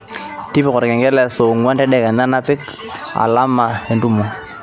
tipika olkengele saa onguan tedekenya nipik alama entumo